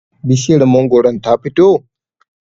bishiyar mangoron ta fito?